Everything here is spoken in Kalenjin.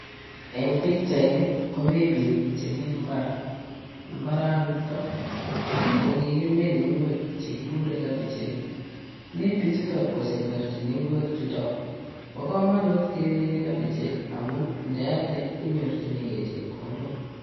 Eng pikchaini komi piik chemi mbar mbaranito ko kikimiin ngwek chekikure kabichek mi pichuto kosemberchini ngwek chuto bo komonut keminei kobichek amun ndealde inyorchinigei chepkondok